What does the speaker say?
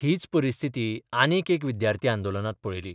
हीच परिस्थिती आनीक एक विद्यार्थी आंदोलनांत पळयली.